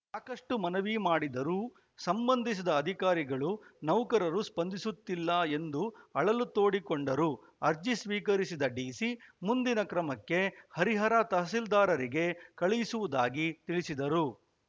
ಸಾಕಷ್ಟುಮನವಿ ಮಾಡಿದರೂ ಸಂಬಂಧಿಸಿದ ಅಧಿಕಾರಿಗಳು ನೌಕರರು ಸ್ಪಂದಿಸುತ್ತಿಲ್ಲ ಎಂದು ಅಳಲು ತೋಡಿಕೊಂಡರು ಅರ್ಜಿ ಸ್ವೀಕರಿಸಿದ ಡಿಸಿ ಮುಂದಿನ ಕ್ರಮಕ್ಕೆ ಹರಿಹರ ತಹಸೀಲ್ದಾರರಿಗೆ ಕಳಿಸುವುದಾಗಿ ತಿಳಿಸಿದರು